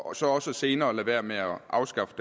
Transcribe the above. og så også senere lade være med at afskaffe